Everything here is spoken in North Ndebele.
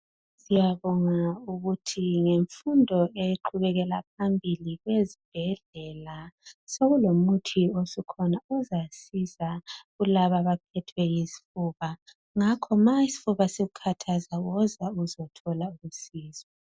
Siyabonga ukuthi ngemfundo eqhubekela phambili ezibhedlela sekulomuthi osukhona ozasiza kulaba abaphethwe yizifuba ngakho ma isifuba sikukhathaza woza uzothola usizo.